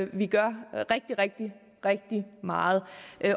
vi gør rigtig rigtig meget